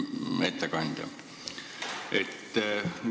Hea ettekandja!